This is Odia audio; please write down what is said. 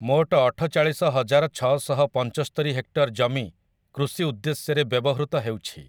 ମୋଟ ଅଠଚାଳିଶ ହଜାର ଛଅଶହ ପଞ୍ଚସ୍ତରି ହେକ୍ଟର ଜମି କୃଷି ଉଦ୍ଦେଶ୍ୟରେ ବ୍ୟବହୃତ ହେଉଛି ।